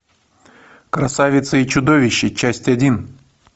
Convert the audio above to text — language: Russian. красавица и чудовище часть один